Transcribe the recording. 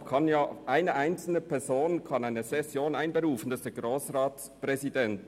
Deshalb kann eine einzelne Person eine Session einberufen, nämlich der Grossratspräsident.